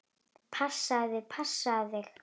Passaðu þig, passaðu þig!